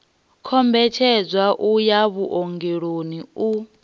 kombetshedza u ya vhuongeloni u